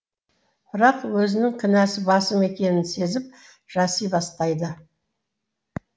бірақ өзінің кінәсі басым екенін сезіп жаси бастайды